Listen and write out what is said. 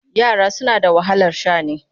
Yara suna da wahalar sha'ani.